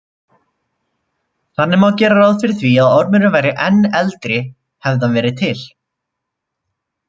Þannig má gera ráð fyrir því að ormurinn væri enn eldri hefði hann verið til.